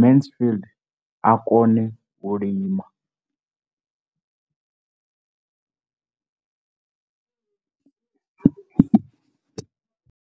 Mansfied a kone u lima.